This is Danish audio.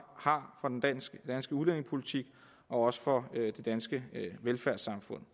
har for den danske udlændingepolitik og også for det danske velfærdssamfund